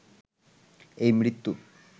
এই মৃত্যু